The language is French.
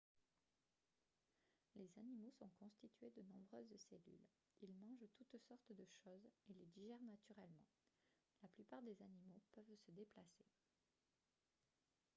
les animaux sont constitués de nombreuses cellules ils mangent toutes sortes de choses et les digèrent naturellement la plupart des animaux peuvent se déplacer